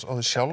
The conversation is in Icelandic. sjálf